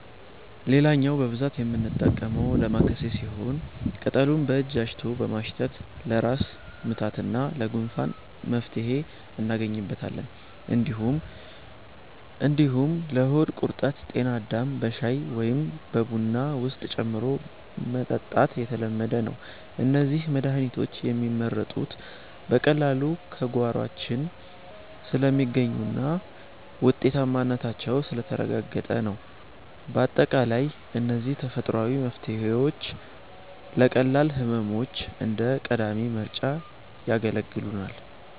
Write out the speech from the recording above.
ሌላኛው በብዛት የምንጠቀመው 'ዳማከሴ' ሲሆን፣ ቅጠሉን በእጅ አሽቶ በማሽተት ለራስ ምታትና ለጉንፋን መፍትሄ እናገኝበታለን። እንዲሁም ለሆድ ቁርጠት 'ጤናዳም' በሻይ ወይም በቡና ውስጥ ጨምሮ መጠጣት የተለመደ ነው። እነዚህ መድሃኒቶች የሚመረጡት በቀላሉ በጓሯችን ስለሚገኙና ውጤታማነታቸው ስለተረጋገጠ ነው። ባጠቃላይ እነዚህ ተፈጥሯዊ መፍትሄዎች ለቀላል ህመሞች እንደ ቀዳሚ ምርጫ ያገለግሉናል።